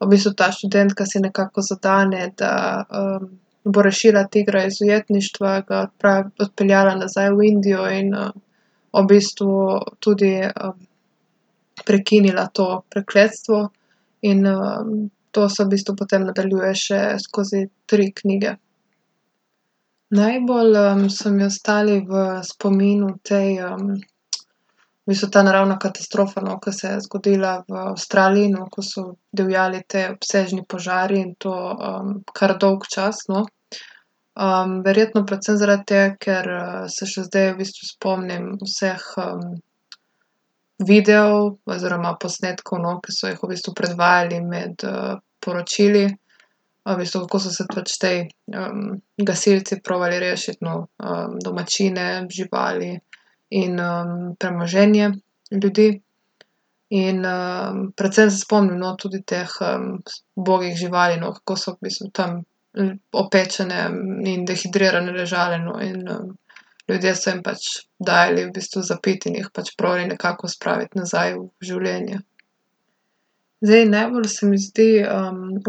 v bistvu ta študentka si nekako zadane, da, bo rešila tigra iz ujetništva, ga odpeljala nazaj v Indijo in, v bistvu tudi, prekinila to prekletstvo. In, to se v bistvu potem nadaljuje še skozi tri knjige. Najbolj, so mi ostali v spominu tej, v bistvu ta naravna katastrofa, no, ker se je zgodila v Avstraliji, no, ko so divjali te obsežni požari, in to, kar dolg čas, no. verjetno predvsem zaradi tega, ker, se še zdaj v bistvu spomnim vseh, videov oziroma posnetkov, no, ke so jih v bistvu predvajali med, poročili. V bistvu, kako so se pač ti, gasilci probali rešiti, no, domačine, živali in, premoženje ljudi. In, predvsem se spomnim, no, tudi teh, ubogih živali, no, kako so v bistvu tam opečene in dehidrirane ležale, no. In, ljudje so jim pač dajali v bistvu za piti in jih pač probali nekako spraviti nazaj v življenje. Zdaj, najbolj se mi zdi,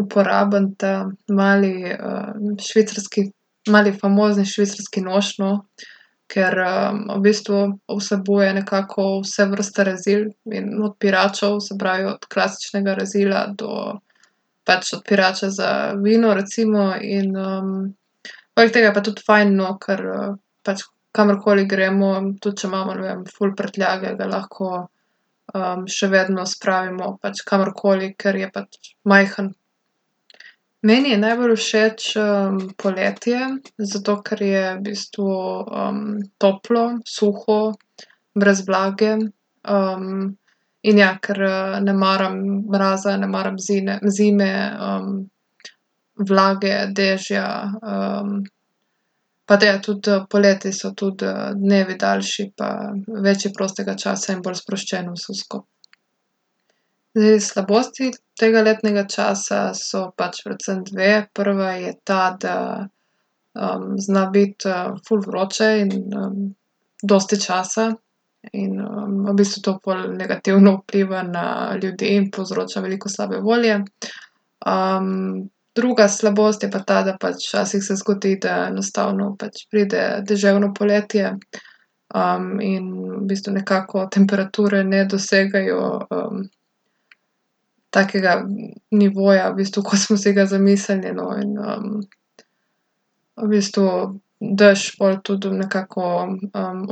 uporaben ta mali, švicarski, mali famozni švicarski nož, no, ker, v bistvu vsebuje nekako vse vrste rezil in odpiračev, se pravi, od klasičnega rezila do pač odpirača za vino recimo. In, poleg tega je pa tudi fajn, no, ker, pač kamorkoli gremo, tudi če imamo, ne vem, ful prtljage, ga lahko, še vedno spravimo pač kamorkoli, ker je pač majhen. Meni je najbolj všeč, poletje, zato ker je v bistvu, toplo, suho, brez vlage. in ja, ker, ne maram mraza, ne maram zine zime, vlage, dežja, pa da je, tudi, poleti so tudi dnevi daljši pa več je prostega časa in bolj sproščeno je vse skupaj. Zdaj, slabosti tega letnega časa sta pač predvsem dve. Prva je ta, da, zna biti, ful vroče in, dosti časa in, v bistvu to pol negativno vpliva na ljudi, jim povzroča veliko slabe volje. druga slabost je pa ta, da pač včasih se zgodi, da enostavno pač pride deževno poletje, in v bistvu nekako temperature ne dosegajo, takega nivoja v bistvu, kot smo si ga zamislili, no, in, v bistvu dež pol tudi nekako,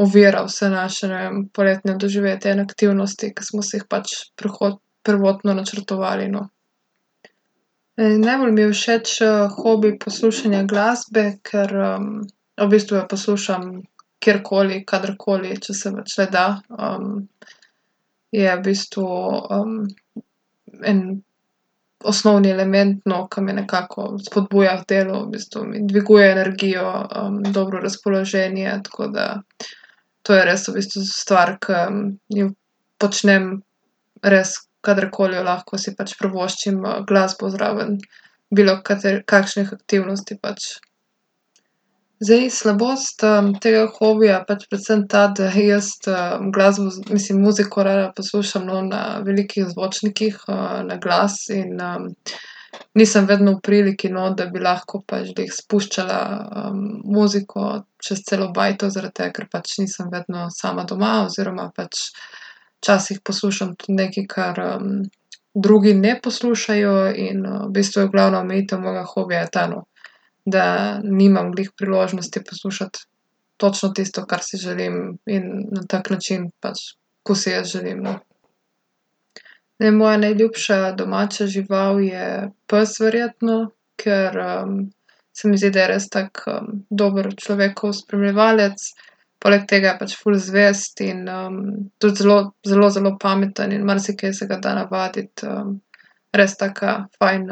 ovira vse naše, ne vem, poletna doživetja in aktivnosti, ke smo si jih pač prvotno načrtovali, no. najbolj mi je všeč, hobi poslušanje glasbe, ker, v bistvu jo poslušam kjerkoli, kadarkoli, če se pač le da. je v bistvu, en osnovni element, no, ke me nekako spodbuja k delu, v bistvu mi dviguje energijo, dobro razpoloženje, tako da to je res v bistvu stvar, ki jo počnem, res kadarkoli jo lahko, si pač privoščim, glasbo zraven. kakšnih aktivnosti pač. Zdaj, slabost, tega hobija je pač predvsem ta, da jaz, glasbo, mislim, muziko, rada poslušam, no, na velikih zvočnikih, naglas in, nisem vedno v priliki, no, da bi lahko pač, glih spuščala, muziko čez celo bajto zaradi tega, ker pač nisem vedno sama doma oziroma pač včasih poslušam tudi nekaj, kar, drugi ne poslušajo in, v bistvu je glavna omejitev mojega hobija ta, no, da nimam glih priložnosti poslušati točno tisto, kar si želim, in na tak način pač, ko si jaz želim, ne. Zdaj, moja najljubša domača žival je pes verjetno, ker, se mi zdi, da je res tak, dober človekov spremljevalec. Poleg tega je pač ful zvest in, tudi zelo, zelo, zelo pameten in marsikaj se ga da navaditi. res taka fajn,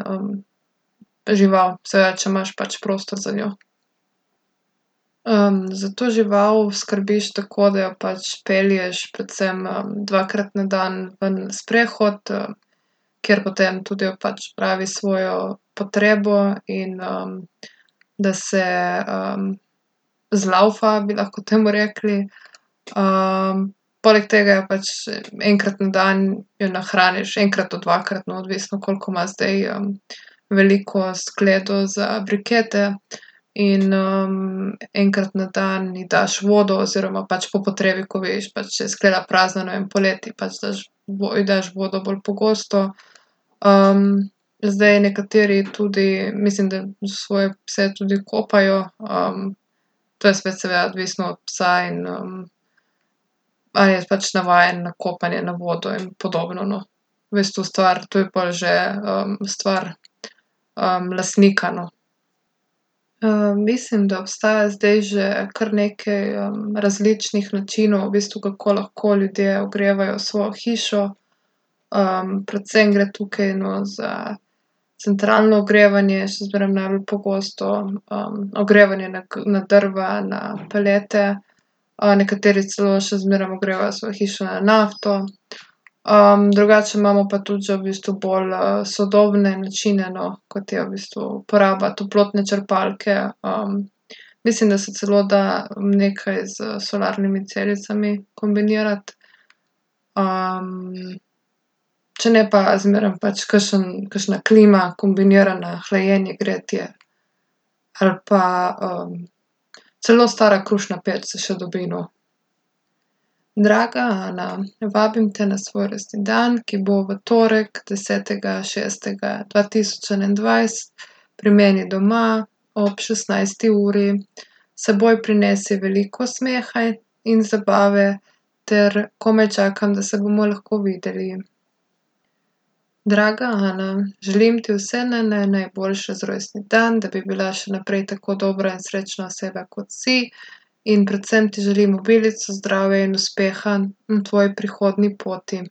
žival. Seveda če imaš pač prostor za njo. za to žival skrbiš tako, da jo pač pelješ predvsem, dvakrat na dan ven na sprehod, ker potem tudi pač opravi svojo potrebo in, da se, zlaufa, bi lahko temu rekli. poleg tega jo pač, enkrat na dan jo nahraniš, enkrat do dvakrat, no, odvisno, koliko ima zdaj, veliko skledo za brikete. In, enkrat na dan ji daš vodo oziroma pač po potrebi, ko vidiš pač, da je skleda prazna, ne vem, poleti pač daš ji daš vodo bolj pogosto. zdaj, nekateri tudi, mislim, da svoje pse tudi kopajo. to je spet seveda odvisno od psa in, a je pač navajen na kopanje, na vodo in podobno, no. V bistvu stvar, to je pol že, stvar, lastnika, no. mislim, da obstaja zdaj že kar nekaj, različnih načinov v bistvu, kako lahko ljudje ogrevajo svojo hišo. predvsem gre tukaj, no, za centralno ogrevanje, še zmeraj najbolj pogosto, ogrevanje na na drva, na pelete, nekateri celo še zmeraj ogrevajo svojo hišo na nafto. drugače imamo pa tudi že v bistvu bolj, sodobne načine, no, kot je v bistvu uporaba toplotne črpalke, mislim, da se celo da nekaj s solarnimi celicami kombinirati. če ne pa zmeraj pač kakšen, kakšna klima, kombinirana, hlajenje, gretje, ali pa, celo stara krušna peč se še dobi, no. Draga Ana. Vabim te na svoj rojstni dan, ki bo v torek, desetega šestega dva tisoč enaindvajset pri meni doma ob šestnajsti uri. S seboj prinesi veliko smeha in, in zabave ter komaj čakam, da se bomo lahko videli. Draga Ana. Želim ti vse naj, naj, najboljše za rojstni dan, da bi bila še naprej tako dobra in srečna oseba, kot si. In predvsem ti želim obilico zdravja in uspeha na tvoji prihodnji poti.